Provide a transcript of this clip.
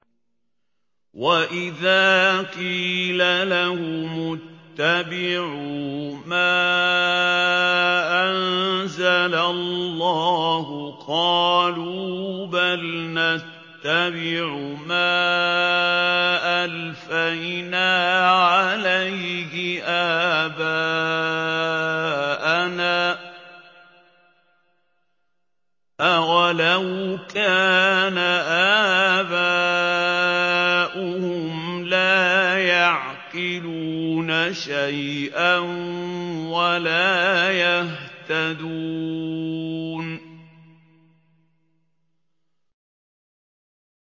وَإِذَا قِيلَ لَهُمُ اتَّبِعُوا مَا أَنزَلَ اللَّهُ قَالُوا بَلْ نَتَّبِعُ مَا أَلْفَيْنَا عَلَيْهِ آبَاءَنَا ۗ أَوَلَوْ كَانَ آبَاؤُهُمْ لَا يَعْقِلُونَ شَيْئًا وَلَا يَهْتَدُونَ